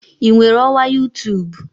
Ị nwere ọwa youtube?